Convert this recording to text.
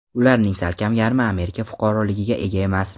Ularning salkam yarmi Amerika fuqaroligiga ega emas.